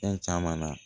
Fɛn caman na